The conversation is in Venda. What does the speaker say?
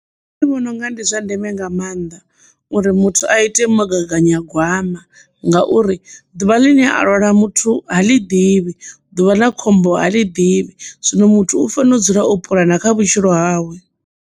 Nṋe ndi vhona unga ndi zwa ndeme nga maanḓa uri muthu a ite mugaganyagwama ngauri ḓuvha ḽine a lwala muthu ha ḽi ḓivhi ḓuvha ḽa khombo ha ḽi ḓivhi, zwino muthu u fanela u dzula u puḽana kha vhutshilo hawe.